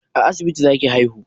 A asibiti za ki haihu?